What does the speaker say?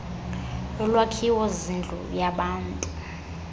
yolwakhiwo zindlu yabantu